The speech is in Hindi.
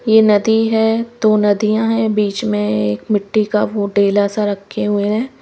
ये नदी है दो नदियां हैं बीच में एक मिट्टी का वो डेला सा रखे हुए हैं।